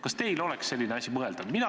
Kas teie jaoks oleks selline asi mõeldav?